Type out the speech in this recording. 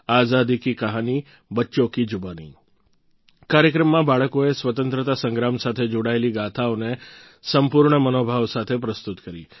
આઝાદી કી કહાની બચ્ચોં કી જુબાની કાર્યક્રમમાં બાળકોએ સ્વતંત્રતા સંગ્રામ સાથે જોડાયેલી ગાથાઓને સંપૂર્ણ મનોભાવ સાથે પ્રસ્તુત કરી